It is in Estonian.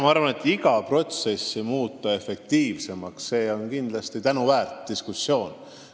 Ma arvan, et iga protsessi efektiivsemaks muutmine on kindlasti tänuväärt ettevõtmine.